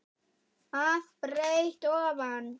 að breidd ofan.